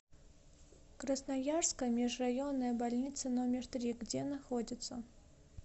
красноярская межрайонная больница номер три где находится